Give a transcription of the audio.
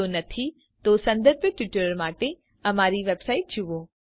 જો નહી તો સંબધિત ટ્યુટોરીયલ માટે દર્શાવેલ અમારી વેબસાઈટ જુઓ